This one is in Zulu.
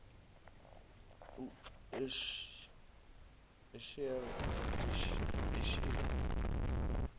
eshere